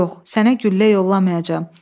Yox, sənə güllə yollamayacam.